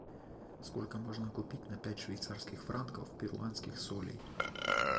сколько можно купить на пять швейцарских франков перуанских солей